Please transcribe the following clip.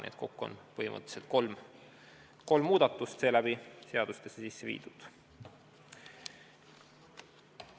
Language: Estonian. Nii et kokku on põhimõtteliselt kolm muudatust seadustesse sisse viidud.